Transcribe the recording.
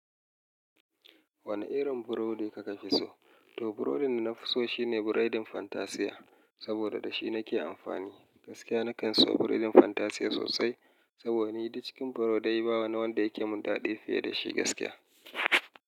Wane irin burodi ka fi so? To, burodin da na fi so shi ne burodin Fantasiya, saboda da shi nake amfani. Gaskiya na kan so burodin Fantasiya sosai saboda ni duk cikin burodai ba wani wanda yake min daɗi fiye da shi gaskiya.